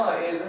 Elvin isə dedi.